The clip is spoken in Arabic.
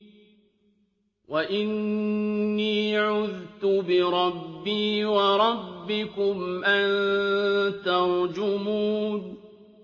وَإِنِّي عُذْتُ بِرَبِّي وَرَبِّكُمْ أَن تَرْجُمُونِ